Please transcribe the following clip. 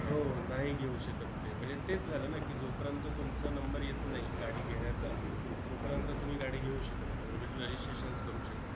हो. नाही घेऊ शकत ते. म्हणजे तेच झालं ना की, जोपर्यंत तुमचा number येत नाही गाडी घेण्याचा, तोपर्यंत तुम्ही गाडी घेऊच शकत नाही, registration च करू शकत नाही.